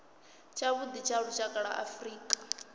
tshavhuḓi tsha lushaka lwa afrika